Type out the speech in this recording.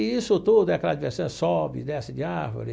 E isso tudo, aquela diversão, sobe e desce de árvore.